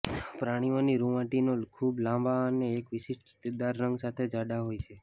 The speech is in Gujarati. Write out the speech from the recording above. પ્રાણીઓની રૂંવાટીનો ખૂબ લાંબા અને એક વિશિષ્ટ ચિત્તદાર રંગ સાથે જાડા હોય છે